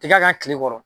Tiga ka kile kɔrɔ